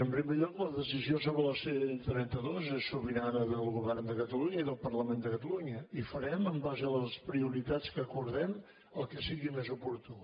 en primer lloc la decisió sobre la ctrenta dos és sobirana del govern de catalunya i del parlament de catalunya i farem en base a les prioritats que acordem el que sigui més oportú